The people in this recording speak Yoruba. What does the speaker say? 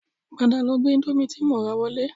Padà lọ gbé indomie tí mo rà wọlé